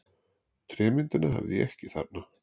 Trémyndina hafði ég ekki þarna.